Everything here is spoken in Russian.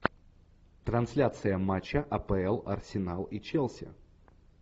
трансляция матча апл арсенал и челси